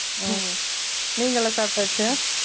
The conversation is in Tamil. உம் நீங்கலாம் சாப்டாச்சு